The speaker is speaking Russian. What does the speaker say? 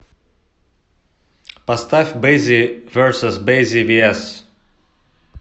поставь бэззи версус бэззи виэс